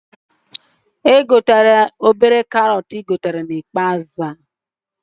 Egotena ụdị obere karọt ahụ ị gotere na ikpeazụ